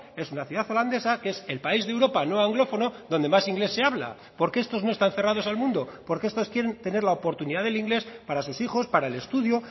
es una ciudad holandesa que es el país de europa no anglófono donde más inglés se habla porque estos no están cerrados al mundo porque estos quieren tener la oportunidad del inglés para sus hijos para el estudio